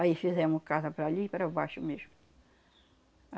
Aí fizemos casa para ali e para baixo mesmo.